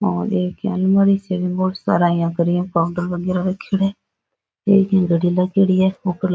और एक इया अलमारी सी है बीम बोला सारा इया काउंटर बगेरा रखेडा है एक इया घडी लागेड़ी है ऊपर --